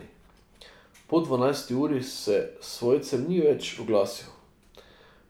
Po dvanajsti uri se svojcem ni več oglasil.